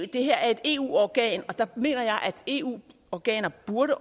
det her er et eu organ og der mener jeg at eu organer burde